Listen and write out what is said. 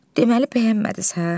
Deməli bəyənmədiz hə?